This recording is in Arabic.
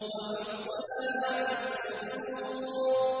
وَحُصِّلَ مَا فِي الصُّدُورِ